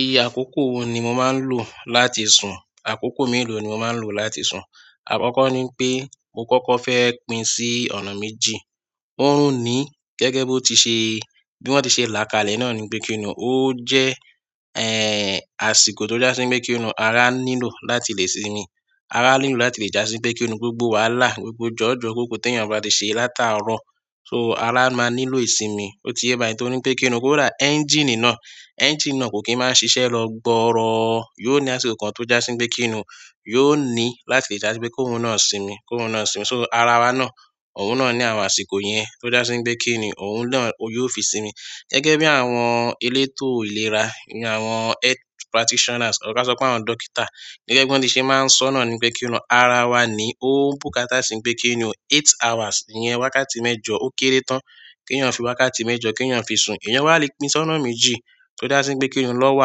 Iye àkókò wo ni mo máa ń lò láti sùn? Àkókò mélòó ni mo máa ń lò láti sùn? Àkọ́kọ́ ni pé mo kọ́kọ́ fẹ́ pín sí ọ̀nà méjì. Ó ń ní gẹ́gẹ́ bí ó ti ṣe, bí wọ́n ti ṣe là kalẹ̀ náà ni pé kí n nú, ó jẹ́, eh, àsìkò tó já síbí pé kí n nú ara nílò láti lè sinmi. Ara nílò láti lè já sí pé kí ni, gbogbo wàhálà, gbogbo jọ̀jọ̀ kóko tó èèyàn bá ti ṣe látàárọ̀. So ara máa nílò ìsinmi. Ó ti yé báyìí torí pé kí n nú kò dá, ẹ́ńjíìnì náà, ẹ́ńjíìnì náà kò kí ń máa ṣiṣẹ́ lọ gbọọrọ. Yóò ní àsìkò kan tó já síbí pé kí n nú, yóò ní láti lè já síbí kó hun náà sinmi, kó hun náà sinmi. So ara wa náà, òun náà ní àwọn àsìkò yẹn tó já síbí pé kí n nú, òun náà, ó yóò fi sinmi. Gẹ́gẹ́ bí àwọn elétò ìlera, ìyẹn àwọn health practitioners or ká sọ p'áwọn dókítà, gẹ́gẹ́ b'ọ́n ti ṣe máa ń sọọ́ náà ni ńpé kí ni o, ara wa nìí ó bùkátà sí ńpé kí ni o eight hours, ìyẹn wákàtí mẹ́jọ, ó kéré tán kéèyàn fi wákàtí mẹ́jọ kéèyàn fi sun. Èèyàn wá le pín sọ́nà méjì, tó já sí ńpé kí ni, lọ́wọ́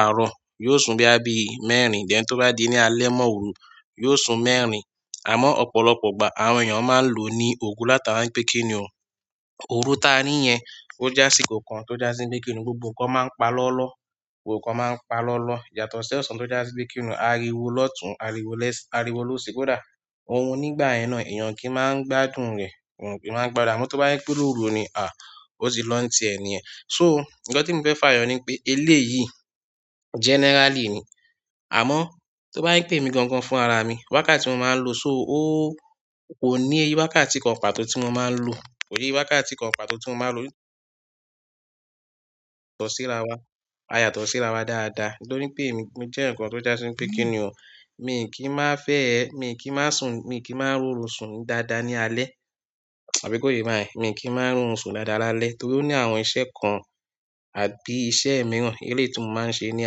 àárọ̀, yóò sun bóyá bíi mẹ́rin, then tó bá di ní alẹ́ mọ́ òru, yóò sun mẹ́rin. Àmọ́ ọ̀pọ̀lọpọ̀ ìgbà àwọn èèyàn máa ń lòó ní òru látara ńpé kí ni o. Òru táa rí yẹn ó já sí nǹkan kan tó já sí ńpé kí ni, gbogbo nǹkan máa ń pa lọ́lọ́. Yóò ní àsìkò kan tó já síbí pé kí n nú, yóò ní láti lè já síbí kó hun náà sinmi, kó hun náà sinmi. So ara wa náà, òun náà ní àwọn àsìkò yẹn tó já síbí pé kí n nú, òun náà, ó yóò fi sinmi. Ohun nígbà yẹn náà, èèyàn ò kí máa ń gbádùn rẹ̀. Àmọ́ tó bá jẹ́ pé lóru ni, o ti lọ ń tiẹ̀ nìyẹn. So, nǹkan témi fẹ́ fà yọ ni wípé, eléyìí, generally ni àmọ́ tó bá jẹ́ pé èmi gangan fúnra ra mi, wákàtí tí mo máa ń lò, so, ó, kò ní iye wákàtí kankan pàtó tí mo máa ń lò. Kò níye wákàtí kan pàtó tí mo máa ń lò. Tọ̀ síra wọn. A yàtọ̀ síra wa dáadáa, nítorí pé èmi, mo jéèyàn kan tó já sí ńpé kí ni o, miì kí máa fẹ́ ẹ, miì kí máa ń sùn, miì kí máa ń róorun sùn dáadáa ní alẹ́. Àbí kò yé yín báyẹn? Miì kí máa ń róorun sùn dáadáa lálẹ́, torí ó ní àwọn iṣẹ́ kan àbí iṣẹ́ mìíràn, eléyìí tí mo máa ń ṣe ní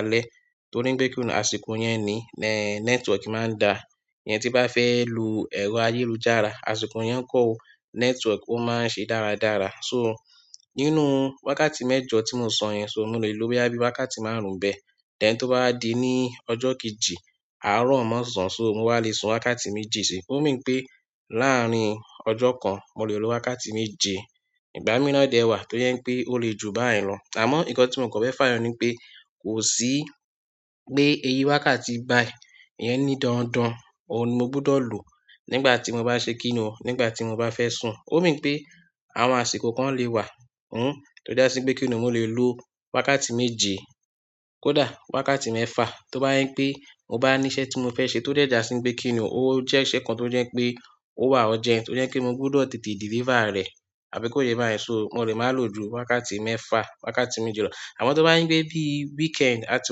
alẹ́ torí ńpé kí ni o, àsìkò yẹn nìí, network máa ń dáa. Ìyẹn tí n bá fẹ́ lo ẹ̀rọ ayélujára, àsìkò yẹn ńkọ́ o? Network ó máa ń ṣe dáradára. So, nínú wákàtí mẹ́jọ tí mo sọ yẹn, mo lè lo bóyá bí wákàtí márùn-ún ńbẹ̀. Then, tó bá di ní ọjọ́ kejì, àárọ̀ mọ́sàn-án, so, mo wá le sun wákàtí méjì síi. Ó mean pé láàárín ọjọ́ kan, mo lè lo wákàtí méje. Ìgbà míì náà dẹ̀ wà tó jẹ́ ńpé ó le jù báyẹn lọ. Àmọ́ nǹkan tí mo kàn fẹ́ fà yọ ni ńpé kò sí pé iye wákàtí báyìí, ìyẹn ní dandan, òun ni mo gbúdọ̀ lò nígbà tí mo ba fẹ́ ṣe kí ni o? Nígbà tí mo bá fẹ́ sùn. Ó mean pé àwọn àsìkò kọ̀ọ̀kan le wà tó já sí ńpé kí ni o, mo lè lo wákàtí méje, kódà wákàtí mẹ́fà. Tó bá jẹ́ ńpé ó bá níṣẹ́ tí mo fẹ́ ṣe tó dẹ̀ já sí ńpé kí ni o, ó jẹ́ṣẹ́ kan tó jẹ́ ńpé ó wà urgent, tó jẹ́ ńpé mo gbúdọ̀ tètè deliver rẹ̀. Àbí kò yé yín báyẹn? So, mo lè má lò ju wákàtí mẹ́fà, wákàtí méje lọ. Àmọ́ tó bá jẹ́ ńpé bí weekend, a ti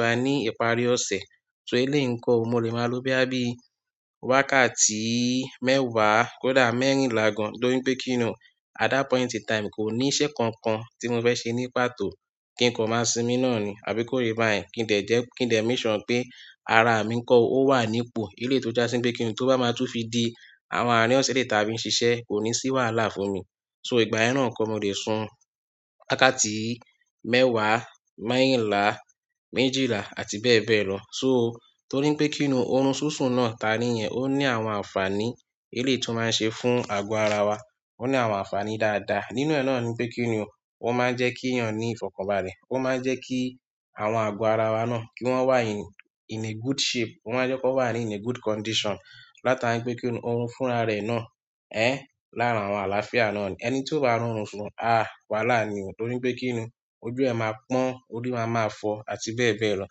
wà ní ìparí ọ̀sẹ̀. So, eléyìí ńkọ́ o? Mo lè máa lo bóyá bí wákàtí mẹ́wàá, kódà mẹ́rìnlá gan-an torí ńpé kí ni o, at that point in time, kò níṣẹ́ kankan tí mo fẹ́ ṣe ní pàtó, kí n kàn máa sinmi náà ni. Àbí kò yé yín báyẹn? Kí n dẹ̀ dẹ́, kí n dẹ̀ make sure ńpé ara mi ńkọ́ o, ó wà nípò, eléyìí tó já sí ńpé kí ni, tó bá máa tún fi di àwọn àárín ọ̀sẹ̀, eléyìí táa fi ń ṣiṣẹ́, kò ní sí wàhálà fún mi. So, ìgbà yẹn náà ńkọ́? Mo lè sun wákàtí mẹ́wàá, mẹ́rìnlá, méjìlá, àti bẹ́ẹ̀ bẹ́ẹ̀ lọ. So, torí ńpé kí ni o, oorun súnsùn náà táa rí yẹn, ó ní àwọn àǹfààní eléyìí tí ó máa ń ṣe fún àgọ́ ara wa. Ó ní àwọn àǹfààní dáadáa. Nínú ẹ̀ náà ni ńpé kí ni o, ó máa ń jẹ́ kíyàn ní ìfọ̀kànbalẹ̀. Ó máa ń jẹ́ kí àwọn àgọ́ ara wa náà, kí wọ́n wà in, in a good shape. Ó máa ń jẹ́ k'ọ́n wà ní in a good condition látara ńpé kí ni, òun fúnra rẹ̀ náà, lára àwọn àlàáfíà náà ni. Ẹni tí ò bá róorun sùn, wàhálà ni o, torí ńpé kí ni, ojú ẹ̀ máa pọ́n, orí máa máa fọ, àti bẹ́ẹ̀ bẹ́ẹ̀ lọ.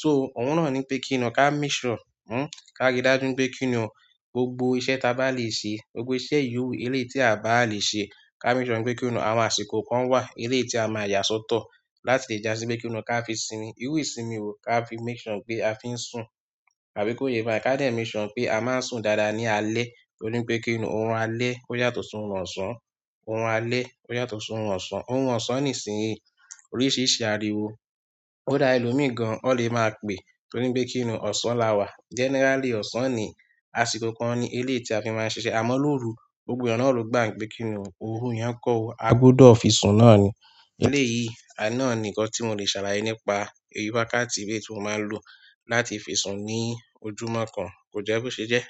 So, òun náà ni ńpé kí ni o, ká make sure, ká ríi dájú ńpé kí ni o? Gbogbo iṣẹ́ táa bá lè ṣe, gbogbo iṣẹ́ yòówù eléyìí tí à báà lè ṣe, ká make sure ńpé kí ni o, àwọn àsìkò kan wà eléyìí tí a máa yà sọ́tọ̀ láti já sí ńpé kí ni o, ká fi sinmi. Irú ìsinmi wo? Ká fi make sure ńpé a fi ń sùn. Àbí kò yé yín báyẹn? Ká dẹ̀ make sure ńpé a máa ń sùn dáadáa ní alẹ́, torí ńpé kí ni o, oorun alẹ́ ó yàtọ̀ sí oorun ọ̀sán oorun alẹ́ ó yàtọ̀ sóorun ọ̀sán. Oorun ọ̀sán nísìín, oríṣìíríṣìí ariwo kódà ẹlòmíì gan-an, wọ́n le máa pèé torí ńpé kí ni o, ọ̀sán la wà. Generally, ọ̀sán nìí, àsìkò kan ni eléyìí tí a fi máa ń ṣiṣẹ́. Àmọ́ lóru, gbogbo èèyàn náà ló gbà ńpé kí ni o, òru yẹn ńkọ́ o, a gbúdọ̀ fi sùn náà ni. Eléyìí náà ni nǹkan tí mo lè ṣàlàyé nípa iye wákàtí eléyìí tí mo máa ń lò láti fi sùn ní ojúmọ́ kan. Kò jẹ́ bó ṣe jẹ́.